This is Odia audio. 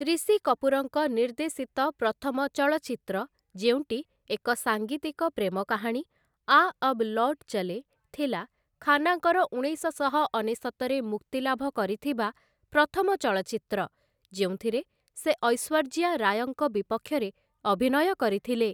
ରିଷି କପୁରଙ୍କ ନିର୍ଦ୍ଦେଶିତ ପ୍ରଥମ ଚଳଚ୍ଚିତ୍ର ଯେଉଁଟି ଏକ ସାଙ୍ଗୀତିକ ପ୍ରେମକାହାଣୀ, 'ଆ ଅବ ଲୌଟ ଚଲେଁ' ଥିଲା ଖାନ୍ନାଙ୍କର ଉଣେଇଶଶହ ଅନେଶତରେ ମୁକ୍ତିଲାଭ କରିଥିବା ପ୍ରଥମ ଚଳଚ୍ଚିତ୍ର, ଯେଉଁଥିରେ ସେ ଐଶ୍ୱର୍ଯ୍ୟା ରାୟଙ୍କ ବିପକ୍ଷରେ ଅଭିନୟ କରିଥିଲେ ।